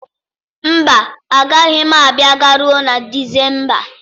Mba, agaghị m abịa garuo na Disemba.